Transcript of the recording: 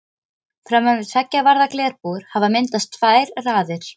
Framan við tveggja varða glerbúr hafa myndast tvær raðir.